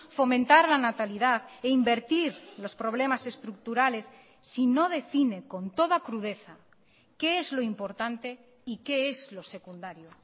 fomentar la natalidad e invertir los problemas estructurales si no define con toda crudeza qué es lo importante y qué es lo secundario